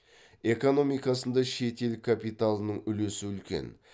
экономикасында шет ел капиталының үлесі үлкен